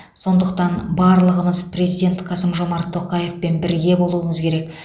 сондықтан барлығымыз президент қасым жомарт тоқаевпен бірге болуымыз керек